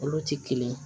Olu ti kelen ye